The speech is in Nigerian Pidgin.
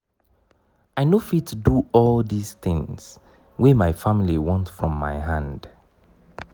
i no fit do all di tins wey my family want from my hand.